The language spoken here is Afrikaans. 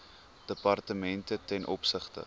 departemente ten opsigte